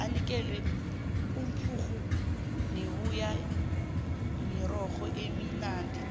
umphurhu nembuya mirorho eminadi tle